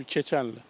Keçən il.